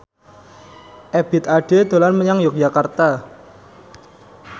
Ebith Ade dolan menyang Yogyakarta